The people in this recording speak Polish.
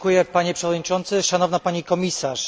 Panie Przewodniczący, Szanowna Pani Komisarz!